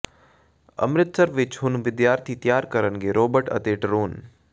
ਅੰਮ੍ਰਿਤਸਰ ਵਿੱਚ ਹੁਣ ਵਿਦਿਆਰਥੀ ਤਿਆਰ ਕਰਣਗੇ ਰੋਬੋਟ ਅਤੇ ਡਰੋਨ